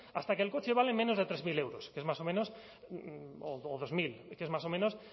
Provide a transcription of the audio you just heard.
hasta que el coche vale menos de tres mil euros que es más o menos o dos mil que es más o menos